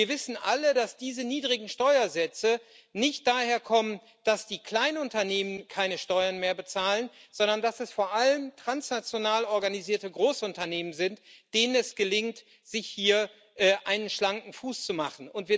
Und wir wissen alle, dass diese niedrigen Steuersätze nicht daher kommen, dass die Kleinunternehmen keine Steuern mehr bezahlen, sondern dass es vor allem transnational organisierte Großunternehmen sind, denen es gelingt, sich hier einen schlanken Fuß zu machen.